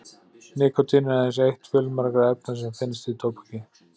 Nikótín er aðeins eitt fjölmargra efna sem finnast í tóbaki.